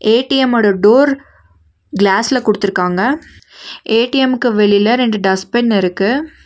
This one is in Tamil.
ஏ_டி_எம் ஓட டோர் கிளாஸ்ல குடுத்திருக்காங்க ஏ_டி_எம்க்கு வெளியில ரெண்டு டஸ்பின் இருக்கு.